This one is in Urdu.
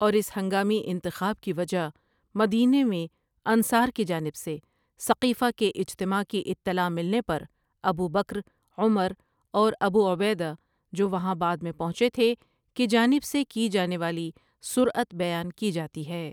اور اس ہنگامی انتخاب کی وجہ مدینے میں انصار کی جانب سے سقیفہ کے اجتماع کی اطلاع ملنے پر ابوبکر، عمر اور ابو عبیدہ جو وہاں بعد میں پہنچے تھے کی جانب سے کی جانے والی سرعت بیان کی جاتی ہے ۔